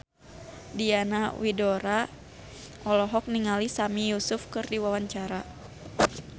Diana Widoera olohok ningali Sami Yusuf keur diwawancara